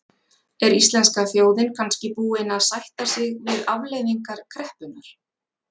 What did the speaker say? Er íslenska þjóðin kannski búin að sætta sig við afleiðingar kreppunnar?